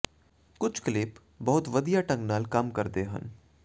ਕੁਝ ਕਲਿੱਪ ਬਹੁਤ ਵਧੀਆ ਢੰਗ ਨਾਲ ਕੰਮ ਕਰਦੇ ਹਨ